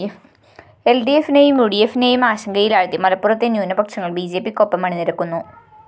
എല്‍ഡിഎഫിനെയും യുഡിഎഫിനെയും ആശങ്കയിലാഴ്ത്തി മലപ്പുറത്തെ ന്യൂനപക്ഷങ്ങള്‍ ബിജെപിക്കൊപ്പം അണിനിരക്കുന്നു